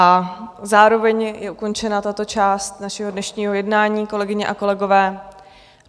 A zároveň je ukončena tato část našeho dnešního jednání, kolegyně a kolegové.